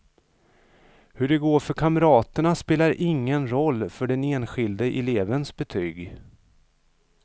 Hur det går för kamraterna spelar ingen roll för den enskilde elevens betyg.